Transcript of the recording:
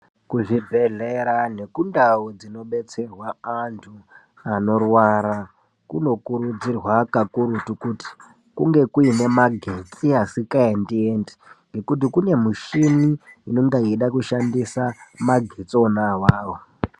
Kuzvibhedhlera nekundau dzinobetserwa antu anorwara kunokurudzirwa kakurutu kuti kunge kuine magetsi asingaendi endi ngekuti kune mishini inenge yeide kushandisa magetsi ona awawo.